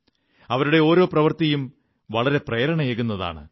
അവരുടെ ഓരോ പ്രവൃത്തിയും വളരെ പ്രേരണയേകുന്നതാണ്